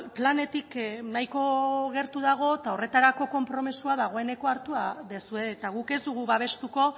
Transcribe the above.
planetik nahiko gertu dago eta horretarako konpromisoa dagoeneko hartuta duzue eta guk ez dugu babestuko